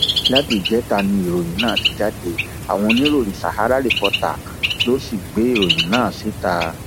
láti ìjẹta ni ìròyìn náà ti jáde àwọn oníròyìn sàhárà reporters ló sì gbé ìròyìn náà síta